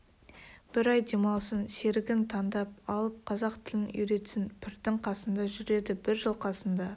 бір ай демалсын серігін таңдап алып қазақ тілін үйретсін пірдің қасында жүреді бір жыл қасында